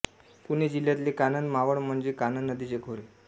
पुणे जिल्ह्यातले कानंद मावळ म्हणजे कानंद नदीचे खोरे